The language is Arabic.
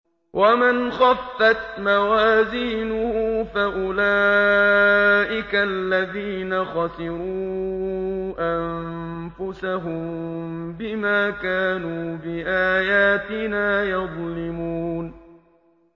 وَمَنْ خَفَّتْ مَوَازِينُهُ فَأُولَٰئِكَ الَّذِينَ خَسِرُوا أَنفُسَهُم بِمَا كَانُوا بِآيَاتِنَا يَظْلِمُونَ